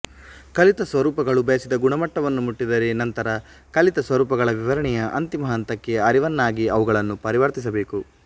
ಕಲಿತ ಸ್ವರೂಪಗಳು ಬಯಸಿದ ಗುಣಮಟ್ಟವನ್ನು ಮುಟ್ಟಿದರೆ ನಂತರ ಕಲಿತ ಸ್ವರೂಪಗಳ ವಿವರಣೆಯ ಅಂತಿಮ ಹಂತಕ್ಕೆ ಅರಿವನ್ನಾಗಿ ಅವುಗಳನ್ನು ಪರಿವರ್ತಿಸಬೇಕು